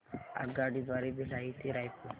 आगगाडी द्वारे भिलाई ते रायपुर